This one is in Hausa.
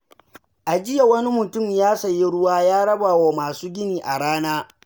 A jiya, wani mutum ya sayi ruwa ya raba wa masu gini a rana.